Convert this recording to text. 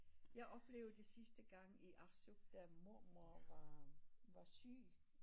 Jeg oplevede det sidste gang i Arsuk da mormor var var syg